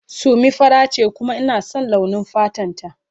Summi fara sosai ce kuma ina son launi fatan ta.